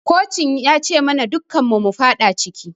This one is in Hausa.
Kocin ya ci mana dukun mu mufada ciki